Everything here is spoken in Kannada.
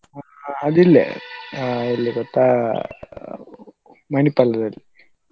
ಅದು ಇಲ್ಲೇ ಎಲ್ಲಿ ಗೊತ್ತಾ Manipal ದಲ್ಲಿ.